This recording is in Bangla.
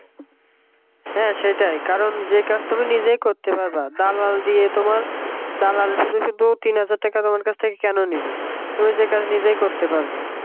হ্যাঁ সেটাই কারণ যেই কাজ তুমি নিজেই করতে পারবা দালাল দিয়ে তোমার দালাল শুধু শুধু তিন হাজার টাকা তোমার থেকে কাছ থেকে কেন নেবে তুমি যেই কাজ নিজেই করতে পারবা